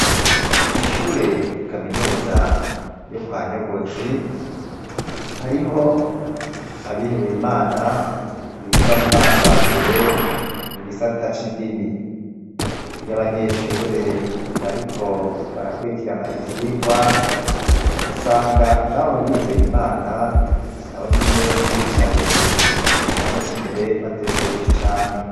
kw'ishure kaminuza yo kwanyogozi hariho abihebeye Imana biga mu mwaka wa mbere mu gisata c'indimi iyo abanyeshure bariko barakurikirana ivyigwa usanga n'abo bihebeye Imana nabo nyene bicaye mu kibanza c'imbere batekereje cane